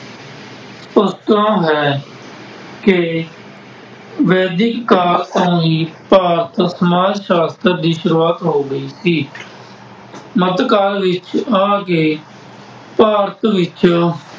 ਪਤਾ ਹੈ ਕਿ ਵੈਦਿਕ ਕਾਲ ਤੋਂ ਹੀ ਭਾਰਤ ਸਮਾਜ ਸਾਸ਼ਤਰ ਦੀ ਸ਼ੁਰੂਆਤ ਹੋ ਗਈ ਸੀ। ਮੱਧ ਕਾਲ ਵਿੱਚ ਆ ਕੇ ਭਾਰਤ ਵਿੱਚ